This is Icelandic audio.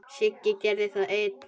Sigga gerði það ein.